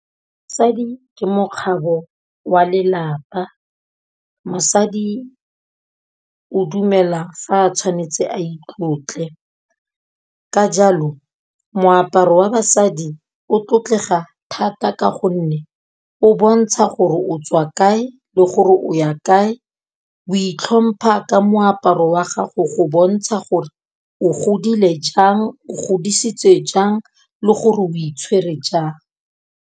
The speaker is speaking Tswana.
Mosadi ke mokgabo wa lelapa, mosadi o dumela fa a tshwanetse a itlotle. Ka jalo moaparo wa basadi o tlotlega thata ka gonne o bontsha gore o tswa kae le gore o ya kae, o itlhompha ka moaparo wa gago go bontsha gore o godile jang, o godisitswe jang le gore o itshwere jang.